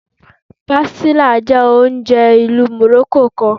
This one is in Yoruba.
Pastilla jẹ ounjẹ ilu Morocco kan